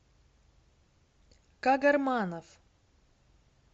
кагарманов